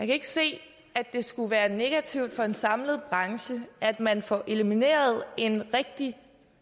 ikke se at det skulle være negativt for en samlet branche at man får elimineret en rigtig